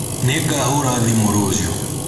Nĩngahũra thimũ rũciũ